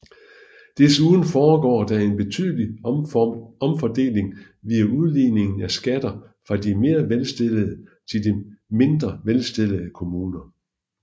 Desuden foregår der en betydelig omfordeling via udligningen af skatter fra de mere velstillede til mindre velstillede kommuner